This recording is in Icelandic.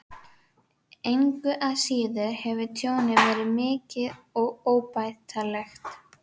Engu að síður hefur tjónið verið mikið og óbætanlegt.